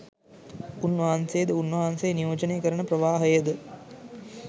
උන් වහන්සේද උන් වහන්සේ නියෝජනය කරන ප්‍රවාහයද